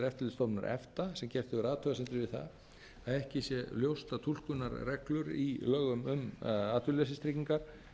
eftirlitsstofnunar efta sem gert hefur athugasemdir við það að ekki sé ljóst að túlkunarreglur í lögum um atvinnuleysistryggingar